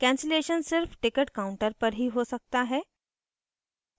cancellation सिर्फ ticket counters पर ही हो सकता है